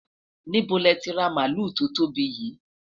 níbo lẹ ti ra maluu to tóbi yii?